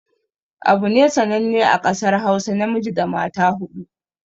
Abune sananne a ƙasar hausa namiji da mata huɗu